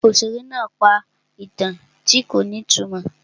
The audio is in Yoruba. Òṣèré náà pa ìtàn tí kò ní ìtumọ̀.